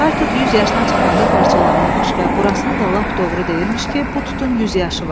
Xar tut 100 yaşına çatanda parçalanırmış və burasını da lap doğru deyirmiş ki, bu tutun 100 yaşı var.